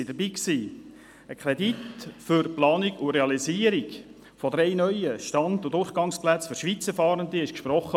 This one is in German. Es wurde ein Kredit für die Planung und Realisierung von drei neuen Stand- und Durchgangsplätzen für Schweizer Fahrende gesprochen.